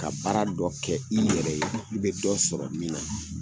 Ka baara dɔ kɛ i yɛrɛ ye ,i be dɔ sɔrɔ min na.